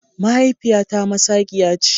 Mahaifiyata masaqiya ce.